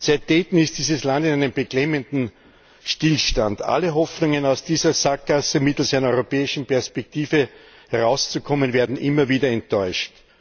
Seit Dayton ist dieses Land in einem beklemmenden Stillstand. Alle Hoffnungen, aus dieser Sackgasse mittels einer europäischen Perspektive herauszukommen, werden immer wieder enttäuscht.